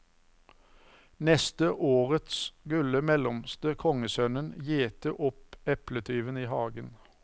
Neste året skulle mellomste kongssønnen gjete opp epletyven i hagen.